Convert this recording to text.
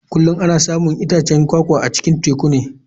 Kullum ana samun itacen kwakwa a cikin tekuna.